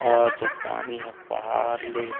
और ज पानी ह पहाड़ ले--